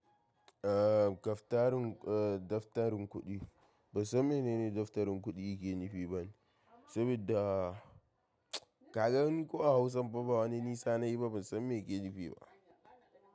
Aaa daftarin, eh daftarin kuɗi. Ban san menene daftarin kuɗi yake nufi bane, saboda ka gan ko a Hausan pa ba wani nisa nayi ba, ban san me yake nufi ba.